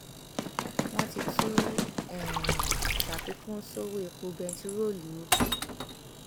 wọn ti tún um ṣàfikún sọwọ epo bẹntiróòlù o